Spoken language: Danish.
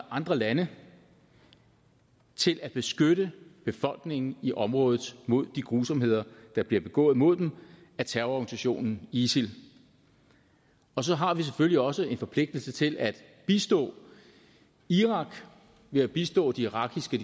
andre lande til at beskytte befolkningen i området mod de grusomheder der bliver begået imod dem af terrororganisation isil og så har vi selvfølgelig også en forpligtelse til at bistå irak ved at bistå de irakiske